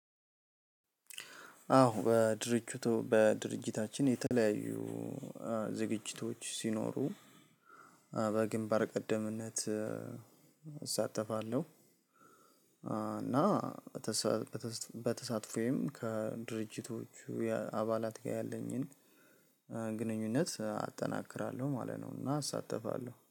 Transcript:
አዎ በድርጅቱ በድርጅታችን የተለያዩ ዝግጅቶች ሲኖሩ በግንባር ቀደምነት እሳተፋለሁ። እና በተሳትፎዬም ከድርጅቶቹ አባላት ጋር ያለኝን ግንኙነት አጠናክራለሁ ማለት ነው። እና አሳተፋለሁ